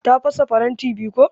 Ta fasa faranti biyu ko.